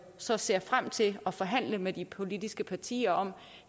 så ser frem til at forhandle med de politiske partier om